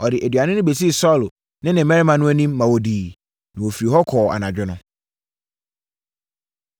Ɔde aduane no bɛsii Saulo ne ne mmarima no anim, ma wɔdiiɛ. Na wɔfirii hɔ kɔɔ anadwo no.